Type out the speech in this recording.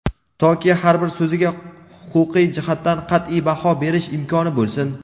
toki har bir so‘ziga huquqiy jihatdan qat’iy baho berish imkoni bo‘lsin.